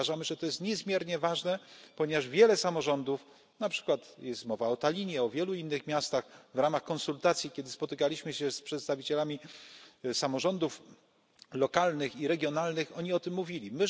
Uważamy, że to jest niezmiernie ważne, ponieważ wiele samorządów na przykład jest mowa o Tallinie, o wielu innych miastach w ramach konsultacji, kiedy spotykaliśmy się z przedstawicielami samorządów lokalnych i regionalnych oni o tym mówili.